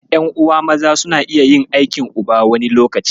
Ƴan'uwa maza suna iya yin aikin uba, wani lokacin.